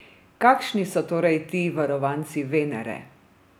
Kakšni so torej ti varovanci Venere?